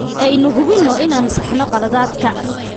Aynu hubino inaan saxno khaladaadka.